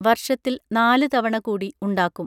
വർഷത്തിൽ നാല് തവണ കൂടി ഉണ്ടാക്കും